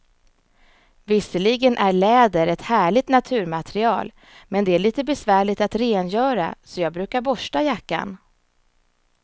Visserligen är läder ett härligt naturmaterial, men det är lite besvärligt att rengöra, så jag brukar borsta jackan.